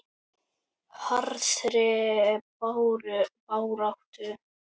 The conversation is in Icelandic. Harðri baráttu lokið.